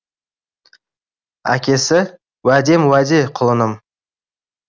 әкесі уәдем уәде құлыным